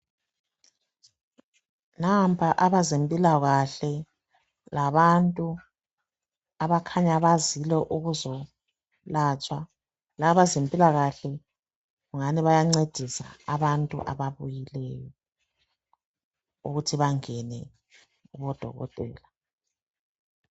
Nampa abazempilakahle labantu abakhanya bazile ukuzolatshwa. Laba abazempilakahle kukhanya bayancedisa abangu ababuyileyo, ukuthi bangene kubodokotela.